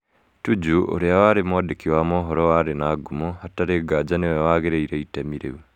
Tuju ũrĩa wari, mwandĩki wa mohoro warĩ na ngumo, hatarĩ nganja nĩ we wagĩrĩire itemi rĩu.